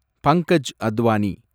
Pankaj Advani